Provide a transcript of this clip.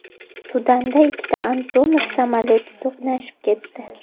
Sudanda ikkita Antonov samolyoti to‘qnashib ketdi .